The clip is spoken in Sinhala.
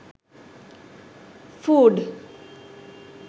food